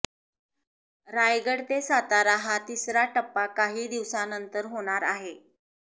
रायगड ते सातारा हा तिसरा टप्पा काही दिवसानंतर होणार आहे